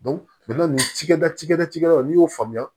nin cikɛda ci kɛla cikɛlaw n'i y'o faamuya